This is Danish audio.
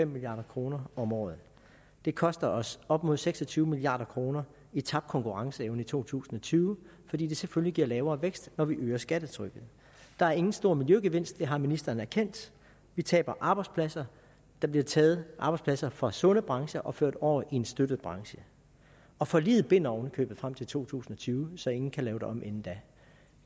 milliard kroner om året det koster os op mod seks og tyve milliard kroner i tabt konkurrenceevne i år to tusind og tyve fordi det selvfølgelig giver lavere vækst når vi øger skattetrykket der er ingen stor miljøgevinst det har ministeren erkendt vi taber arbejdspladser der bliver taget arbejdspladser fra sunde brancher og ført over i en støttet branche forliget binder oven i købet frem til år to tusind og tyve så ingen kan lave det om inden da